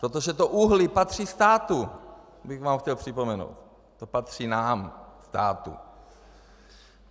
protože to uhlí patří státu, bych vám chtěl připomenout, to patří nám, státu.